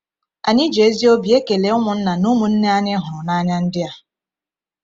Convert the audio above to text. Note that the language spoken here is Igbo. Anyị ji ezi obi ekele ụmụnna na ụmụnne anyị hụrụ n’anya ndị a!